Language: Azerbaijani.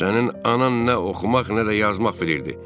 Sənin anan nə oxumaq, nə də yazmaq bilirdi.